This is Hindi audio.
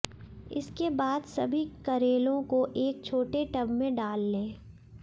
इसके बाद सभी करेलों को एक छोटे टब में डाल लें